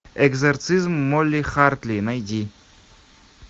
экзорцизм молли хартли найди